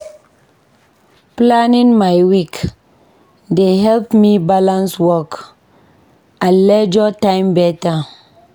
Planning my week dey help me balance work and leisure time beta.